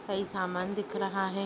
कई सामान दिख रहा हैं।